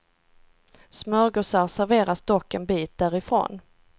Smörgåsar serveras dock en bit därifrån.